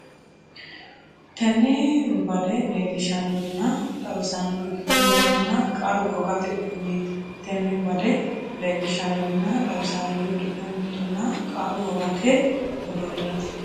Tenne bade leellishshan- norinna xawissannori giddo mittunna qaru wogate uduunneeti Tenne bade leellishshan- norinna xawissannori giddo mittunna qaru wogate uduunneeti.